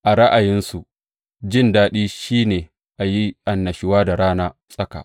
A ra’ayinsu jin daɗi shi ne a yi annashuwa da rana tsaka.